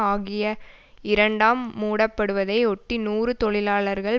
ஆகிய இரண்டாம் மூடப்படுவதை ஒட்டி நூறு தொழிலாளர்கள்